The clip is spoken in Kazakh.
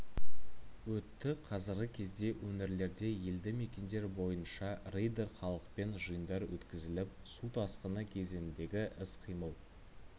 өтті қазіргі кезде өңірлерде елді мекендер бойынша рейдтер халықпен жиындар өткізіліп су тасқыны кезеңіндегі іс-қимыл